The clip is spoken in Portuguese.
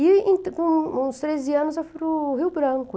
E com uns treze anos eu fui no Rio Branco.